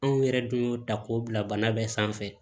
Anw yɛrɛ dun y'o ta k'o bila bana bɛɛ sanfɛ